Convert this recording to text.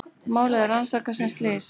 Málið er rannsakað sem slys